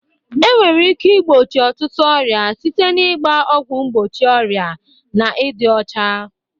Enwere ike igbochi ọtụtụ ọrịa site na ịgba ọgwụ mgbochi ọrịa na ịdị ọcha.